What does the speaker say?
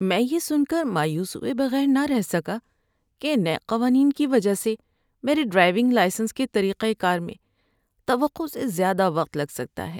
‏میں یہ سن کر مایوس ہوئے بغیر نہ رہ سکا کہ نئے قوانین کی وجہ سے میرے ڈرائیونگ لائسنس کے طریقہ کار میں توقع سے زیادہ وقت لگ سکتا ہے۔